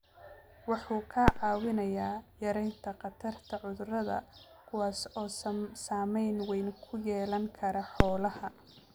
Wuxuu kaa caawinayaa yaraynta khatarta cudurrada kuwaas oo saameyn weyn ku yeelan kara xoolaha.